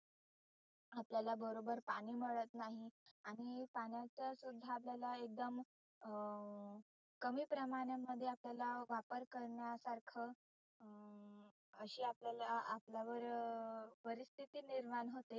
आपल्याला बरोबर पाणि मिळत नाही. आणि पाण्याचा सुद्धा आपल्याला एकदम अं कमी प्रमाणा मध्ये आपल्याला वापर करण्यासारख अं अशी आपल्याला आपल्यावर परिस्थिती निर्माण होते.